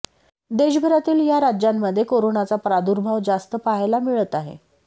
देशभरातील या राज्यांमध्ये कोरोनाचा प्रादुर्भाव जास्त पाहायला मिळत आहे